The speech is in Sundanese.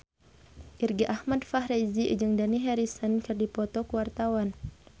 Irgi Ahmad Fahrezi jeung Dani Harrison keur dipoto ku wartawan